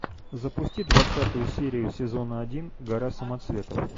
запусти двадцатую серию сезона один гора самоцветов